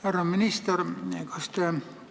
Härra minister!